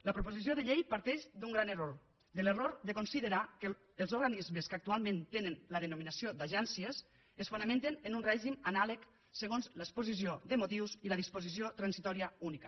la proposició de llei parteix d’un gran error de l’error de considerar que els organismes que actualment tenen la denominació d’agències es fonamenten en un règim anàleg segons l’exposició de motius i la disposició transitòria única